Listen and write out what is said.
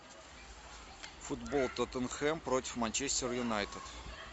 футбол тоттенхэм против манчестер юнайтед